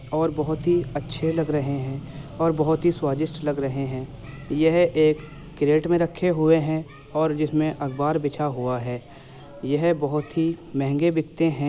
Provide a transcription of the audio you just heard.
और बहोत ही अच्छे लग रहे हैं और बहोत ही स्वादिस्ट लग रहे हैं। यह एक केरेट में रखे हुऐ हैं और जिसमें अख़बार भी बिछा हुआ है। यह बहोत ही महगे बिकते हैं।